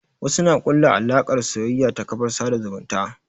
Wasu na ƙulla alaƙar soyayya ta kafar sada zumunta.